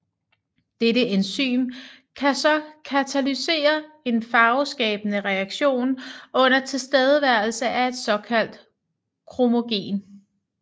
Dette enzym kan så katalysere en farveskabende reaktion under tilstedeværelse af et såkaldt kromogen